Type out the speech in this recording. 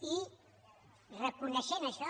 i reconeixent això